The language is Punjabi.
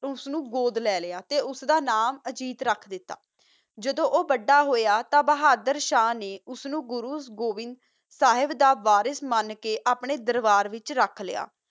ਓਸ ਨੂ ਗੋਉਦ ਲਾ ਲ੍ਯ ਓਸ ਦਾ ਨਾਮ ਅਨ੍ਜੀਤ ਰਖ ਦਿਤਾ ਜਦੋ ਓਹੋ ਵਾਦਾ ਹੋਆ ਤਾ ਬੋਹਾਦਰ ਸ਼ਾਹ ਗੁਰੋ ਸਾਹਿਬ ਦਾ ਸਹੀ ਮਨ ਕਾ ਆਪਣਾ ਆਰਬਰ ਚ ਰਖ ਲ੍ਯ